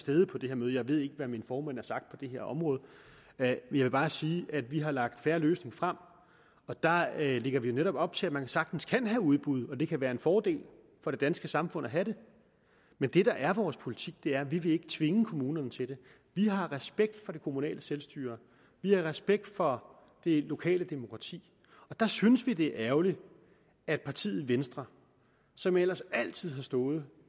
stede på det her møde jeg ved ikke hvad min formand har sagt på det her område men jeg vil bare sige at vi har lagt en fair løsning frem og der ligger vi jo netop op til at man sagtens kan have udbud og det kan være en fordel for det danske samfund at have det men det der er vores politik er at vi ikke vil tvinge kommunerne til det vi har respekt for det kommunale selvstyre vi har respekt for det lokale demokrati og der synes vi at det er ærgerligt at partiet venstre som ellers altid har stået